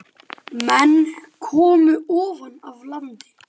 Menn komu ofan af landi.